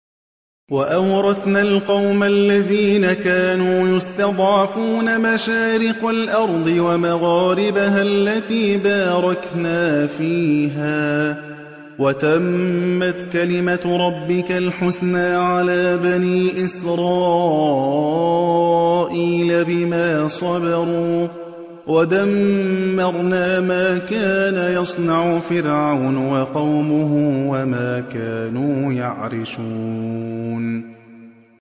وَأَوْرَثْنَا الْقَوْمَ الَّذِينَ كَانُوا يُسْتَضْعَفُونَ مَشَارِقَ الْأَرْضِ وَمَغَارِبَهَا الَّتِي بَارَكْنَا فِيهَا ۖ وَتَمَّتْ كَلِمَتُ رَبِّكَ الْحُسْنَىٰ عَلَىٰ بَنِي إِسْرَائِيلَ بِمَا صَبَرُوا ۖ وَدَمَّرْنَا مَا كَانَ يَصْنَعُ فِرْعَوْنُ وَقَوْمُهُ وَمَا كَانُوا يَعْرِشُونَ